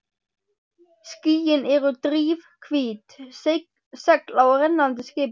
Skýin eru drifhvít segl á rennandi skipi.